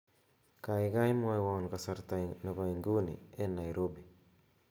gaogai mwowon kasarta nepo inguni en naiirobi